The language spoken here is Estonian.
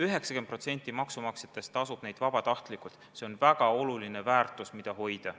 90% maksumaksjatest tasub makse vabatahtlikult ja see on väga oluline väärtus, mida hoida.